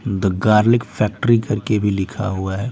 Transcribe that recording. The garlic factory करके भी लिखा हुआ है।